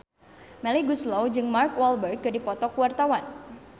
Melly Goeslaw jeung Mark Walberg keur dipoto ku wartawan